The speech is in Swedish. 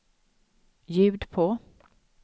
ljud på